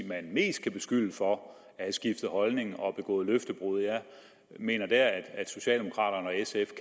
man mest kan beskylde for at have skiftet holdning og begået løftebrud jeg mener der at socialdemokraterne og sf